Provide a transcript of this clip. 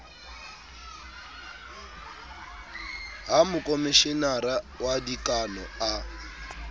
ha mokomeshenara wa dikano a